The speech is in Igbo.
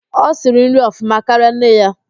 O siri nri ọfụma karịa nne ya